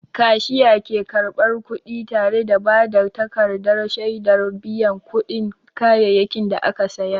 Kashiya ke karɓar kuɗi tare da ba da takardar shaidar biyan kuɗin kayayyakin da aka saya.